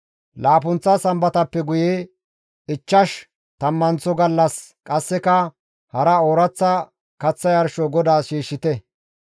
Laappunththa sambatappe guye ichchash tammanththo gallas qasseka hara ooraththa kaththa yarsho GODAAS shiishshite.